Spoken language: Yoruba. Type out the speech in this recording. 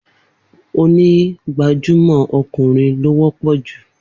Onígbàjámọ́ ọkùnrin ló wọ́pọ̀ jù